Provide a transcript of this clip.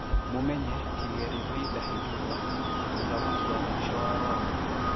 Mũmenye, Kigeli V Ndahindurwa, mũthamaki wa mũisho wa Rwanda.